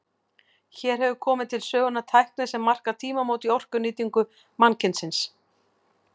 Hér hefur komið til sögunnar tækni sem markar tímamót í orkunýtingu mannkynsins.